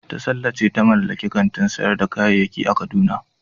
Tasalla ce ta mallaki kantin sayar da kayayyaki a kaduna.